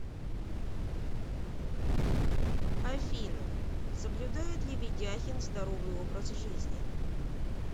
афина соблюдает ли ведяхин здоровый образ жизни